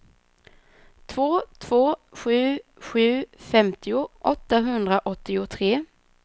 två två sju sju femtio åttahundraåttiotre